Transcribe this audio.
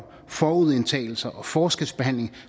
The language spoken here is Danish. forudindtagelser og forskelsbehandling og